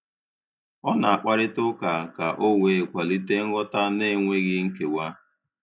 Ọ na-akparịta ụka ka o wee kwalite nghọta na - enweghị nkewa